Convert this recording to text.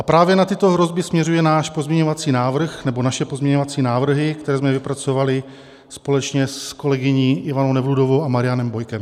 A právě na tyto hrozby směřuje náš pozměňovací návrh, nebo naše pozměňovací návrhy, které jsme vypracovali společně s kolegyní Ivanou Nevludovou a Marianem Bojkem.